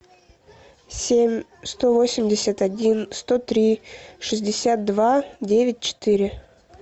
семь сто восемьдесят один сто три шестьдесят два девять четыре